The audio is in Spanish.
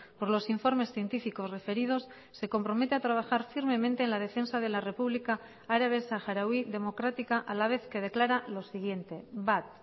por los informes científicos referidos se compromete a trabajar firmemente en la defensa de la república árabe saharaui democrática a la vez que declara lo siguiente bat